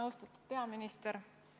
Austatud peaminister!